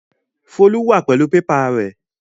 Folú wà pẹlu pépà rẹ.